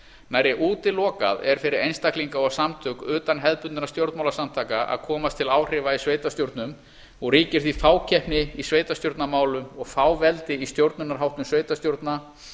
nærri útilokað er fyrir einstaklinga og samtök utan hefðbundinna stjórnmálasamtaka að komast til áhrifa í sveitarstjórnum og ríkir því fákeppni í sveitarstjórnarmálum og fáveldi í stjórnunarháttum sveitarstjórna